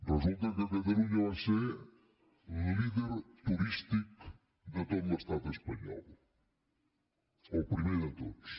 resulta que catalunya va ser líder turístic de tot l’estat espanyol el primer de tots